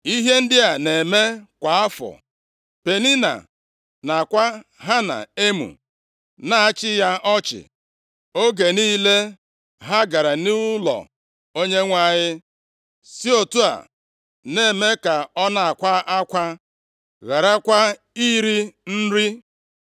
Ihe ndị a na-eme kwa afọ. Penina na-akwa Hana emo, na-achị ya ọchị oge niile ha gara nʼụlọ Onyenwe anyị, si otu a na-eme ka ọ na-akwa akwa, gharakwa iri nri.